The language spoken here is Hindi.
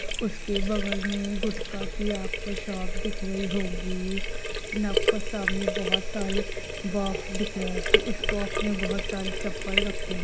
उसके बगल में एक गुटका के आपको शॉप दिख रही होगी न आपको सामने बहुत सारी बॉक्स दिख रहे होंगे उस बॉक्स में बहुत सारी चप्पल रखे हुए हैं।